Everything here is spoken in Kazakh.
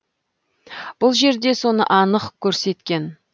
бұл жерде соны анық көрсеткен